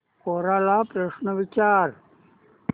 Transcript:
कोरा ला प्रश्न विचार